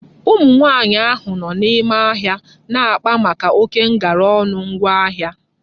Ụmụ nwaanyị ahụ nọ n'ime ahịa na-akpa maka oké ngara ọnụ ngwa ahịa